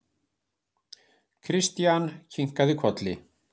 Christian kinkaði kolli.